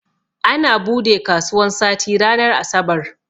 Ana bude kasuwan sati ranar asabar